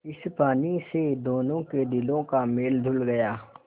इस पानी से दोनों के दिलों का मैल धुल गया